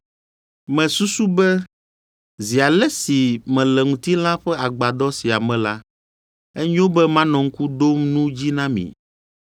Mesusu be zi ale si mele ŋutilã ƒe agbadɔ sia me la, enyo be manɔ ŋku ɖom nu dzi na mi,